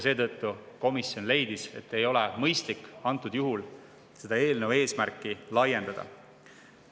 Seetõttu leidis komisjon, et ei ole mõistlik antud juhul eelnõu eesmärki laiendada.